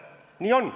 Nii on.